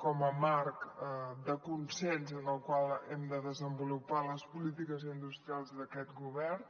com a marc de consens en el qual hem de desenvolupar les polítiques industrials d’aquest govern